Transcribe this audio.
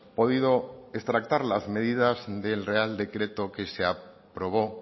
podido extractar las medidas del real decreto que se aprobó